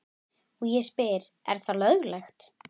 Og ég spyr er það löglegt?